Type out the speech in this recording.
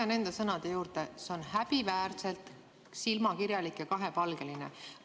Ma jään enda sõnade juurde: see on häbiväärselt silmakirjalik ja kahepalgeline.